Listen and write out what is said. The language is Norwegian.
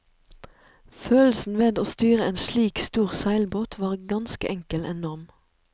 Følelsen ved å styre en slik stor seilbåt var ganske enkel enorm.